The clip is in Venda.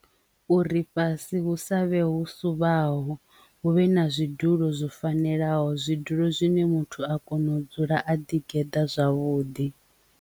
Uri fhasi hu savhe hu suvhaho hu vhe na zwidulo zwo fanelaho zwidulo zwine muthu a kona u dzula a ḓi geḓa zwavhuḓi.